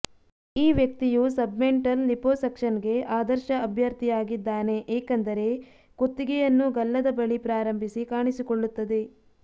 ಈ ವ್ಯಕ್ತಿಯು ಸಬ್ಮೆಂಟಲ್ ಲಿಪೊಸಕ್ಷನ್ಗೆ ಆದರ್ಶ ಅಭ್ಯರ್ಥಿಯಾಗಿದ್ದಾನೆ ಏಕೆಂದರೆ ಕುತ್ತಿಗೆಯನ್ನು ಗಲ್ಲದ ಬಳಿ ಪ್ರಾರಂಭಿಸಿ ಕಾಣಿಸಿಕೊಳ್ಳುತ್ತದೆ